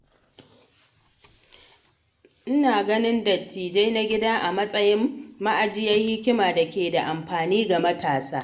Ina ganin dattijai na gida a matsayin ma’ajiyar hikima da ke da amfani ga matasa.